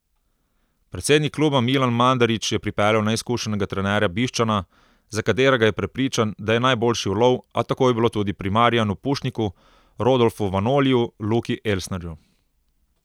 Predsednik kluba Milan Mandarić je pripeljal neizkušenega trenerja Bišćana, za katerega je prepričan, da je najboljši ulov, a tako je bilo tudi pri Marijanu Pušniku, Rodolfu Vanoliju, Luki Elsnerju ...